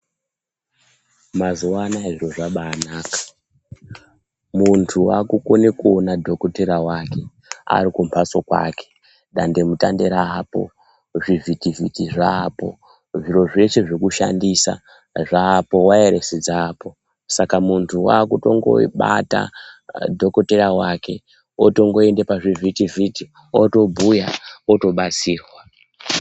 Mazuwanaya zviro zvabanaka. Muntu wakukone kuona dhokotera wake, arikumbatso kwake, dandemutande raapo, zvivhitivhiti zvaapo, zviro zvese zvekushandisa zvaapo, wayarese dzaapo. Saka muntu wakutongobata dhokoteya wake otongoenda pazvivhitivhiti otobhuya otobatsirwa.